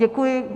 Děkuji.